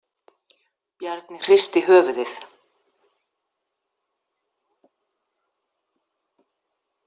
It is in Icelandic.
Bjarni hristi höfuðið.